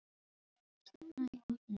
Þeir stefna í áttina til mín.